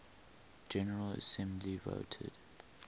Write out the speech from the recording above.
general assembly voted